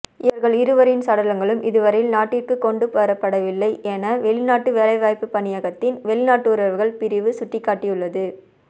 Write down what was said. இவர்கள் இருவரின் சடலங்களும் இதுவரையில் நாட்டிற்கு கொண்டுவரப்படவில்லை என வௌிநாட்டு வேலைவாய்ப்புப் பணியகத்தின் வௌிநாட்டுறவுகள் பிரிவு சுட்டிக்காட்டியுள்ளது